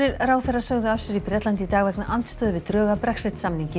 ráðherrar sögðu af sér í Bretlandi í dag vegna andstöðu við drög að Brexit samningi